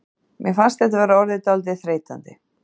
Mér fannst þetta vera orðið dálítið þreytandi.